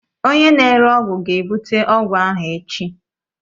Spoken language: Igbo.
Onye na-ere ọgwụ ga-ebute ọgwụ ahụ echi